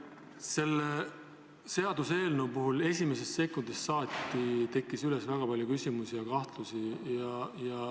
Selle seaduseelnõu kohta tekkis esimese sekundiga väga palju küsimusi ja kahtlusi.